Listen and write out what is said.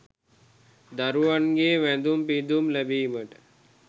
දරුවන්ගේ වැඳුම් පිඳුම් ලැබීමට